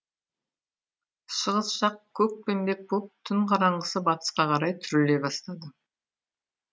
шығыс жақ көкпеңбек боп түн қараңғысы батысқа қарай түріле бастады